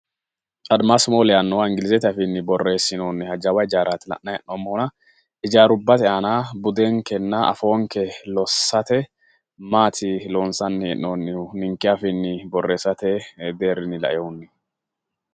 admasi mole yaannoha inglizete afiinni borreessinoonniha jawa ijaaraati la'nanni hee'noommohuna ijaarubbate aana budenkenna afoonke lossate maati loonsanni hee'noonnihu ninke afiinni borreessate deerrinnni laeehunni?